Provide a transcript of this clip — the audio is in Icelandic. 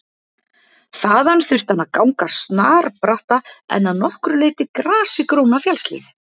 Þaðan þurfti hann að ganga snarbratta en að nokkru leyti grasigróna fjallshlíð.